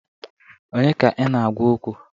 Onye ka ị na-agwa okwu?